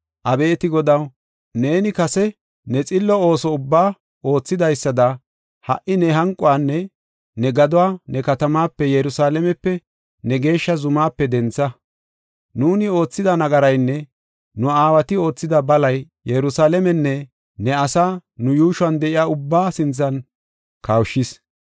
Abeeti Godaw, neeni kase ne xillo ooso ubbaa oothidaysada, ha77i ne hanquwanne ne gaduwa ne katamaape, Yerusalaamepe, ne geeshsha zumaape dentha. Nuuni oothida nagaraynne nu aawati oothida balay Yerusalaamenne ne asaa nu yuushuwan de7iya ubbaa sinthan kawushis.